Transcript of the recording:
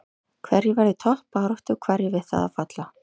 Hverjir verða í toppbaráttu og hverjir við það að falla?